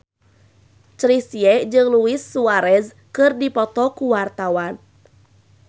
Chrisye jeung Luis Suarez keur dipoto ku wartawan